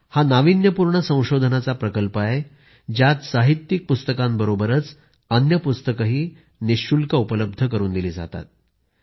हा नाविन्यपूर्ण संशोधनाचा प्रकल्प आहे ज्यात साहित्यिक पुस्तकांबरोबरच अन्य पुस्तकंही निःशुल्क उपलब्ध करून देतात